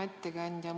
Hea ettekandja!